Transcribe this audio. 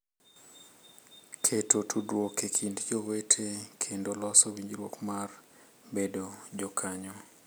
Keto tudruok e kind jowete kendo loso winjo mar bedo jokanyo